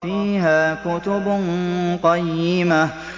فِيهَا كُتُبٌ قَيِّمَةٌ